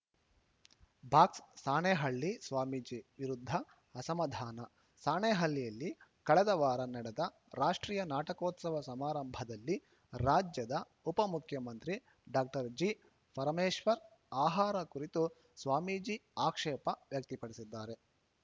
box Sanehalli Swamiji ವಿರುದ್ಧ ಅಸಮಾಧಾನ ಸಾಣೇಹಳ್ಳಿಯಲ್ಲಿ ಕಳೆದ ವಾರ ನಡೆದ ರಾಷ್ಟ್ರೀಯ ನಾಟಕೋತ್ಸವ ಸಮಾರಂಭದಲ್ಲಿ ರಾಜ್ಯದ ಉಪಮುಖ್ಯಮಂತ್ರಿ ಡಾಕ್ಟರ್ ಜಿಪರಮೇಶ್ವರ್‌ ಆಹಾರ ಕುರಿತು ಸ್ವಾಮೀಜಿ ಆಕ್ಷೇಪ ವ್ಯಕ್ತಿ ಪಡಿಸಿದ್ದಾರೆ